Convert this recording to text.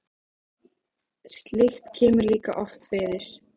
Slíkt kemur líka oft fyrir.